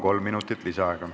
Kolm minutit lisaaega.